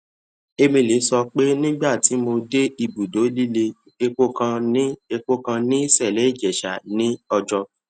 emele sọ pé nígbà tí mo dé ibùdó líle epo kan ní epo kan ní cele ijesha ní ọjọ